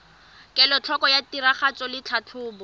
kelotlhoko ya tiragatso le tlhatlhobo